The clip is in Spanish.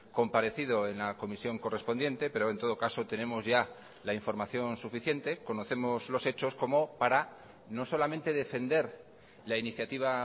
comparecido en la comisión correspondiente pero en todo caso tenemos ya la información suficiente conocemos los hechos como para no solamente defender la iniciativa